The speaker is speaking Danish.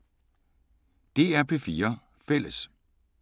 DR P4 Fælles